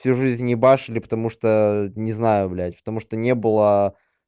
всю жизнь ебашили потому что не знаю блядь потому что не было